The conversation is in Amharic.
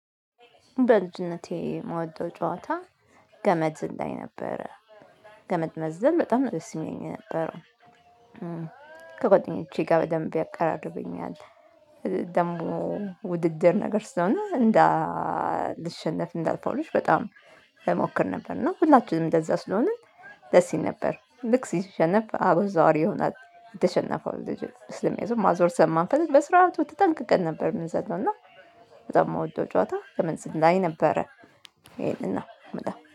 በልጅነቴ የምወደው ጨዋታ ገመድ ዝላይ ነበረ ገመድ መዘለል በጣም ነው ደስ የሚለኝ የነበረው። ከጓደኞቼ ጋር በደንብ ያቀራርበኛል። ደግሞ ውድድር ነገር ስለሆነ እንዳ ልሸነፍ እንዳልፎርሽ በጣም እሞክር ነበር። እና ሁላችንም እንደዛ ስለሆንን ደስ ይል ነበር። ልክ ሲሸነፍ አቡ ዟሪ ይሆናል የተሸነፈው ልጅ ምክኒያቱም ማዞር ስለማንፈልግ በስርዓቱ ትጠንቅቀን ነበር ምናዞረውና በጣም የምወደው ጨዋታ ገመድ ዝላይ ነበረ። ይሄንን ነው ምለው